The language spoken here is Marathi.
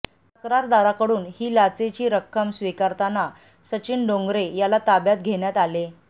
तक्रारदाराकडून ही लाचेची रक्कम स्वीकारताना सचिन डोंगरे याला ताब्यात घेण्यात आले